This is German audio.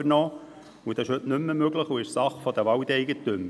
Das ist heute nicht mehr möglich, und es ist Sache der Waldeigentümer.